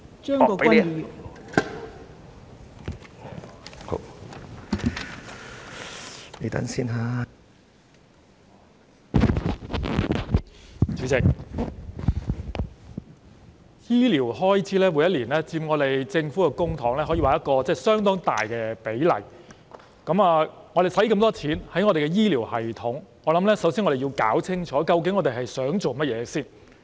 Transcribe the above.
代理主席，醫療開支每年也佔政府公帑一個相當大的比例，我們把那麼多款項投放至醫療系統，我認為首先要弄清楚我們的目標究竟是甚麼。